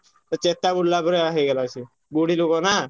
ତା ଚେତା ବୁଡ଼ିଲା ପରିଆ ହେଇଗଲା ସେ। ବୁଢୀଲୋକ ନା।